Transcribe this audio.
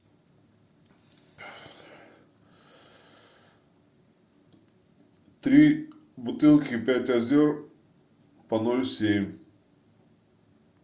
три бутылки пять озер по ноль семь